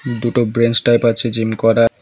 দুটো bench type আছে জিম করার।